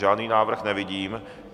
Žádný návrh nevidím.